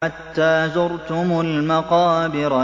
حَتَّىٰ زُرْتُمُ الْمَقَابِرَ